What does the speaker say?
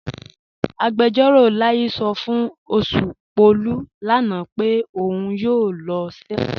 Agbẹjọ̀ró Láyí̀ sọ́ fún Oṣùpọ̀lú lánà pé ọ̀un yóò lọ̀ sẹwọn.